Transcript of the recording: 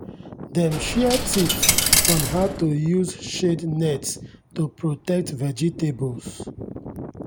dem share tips on how to use shade nets to protect vegetables.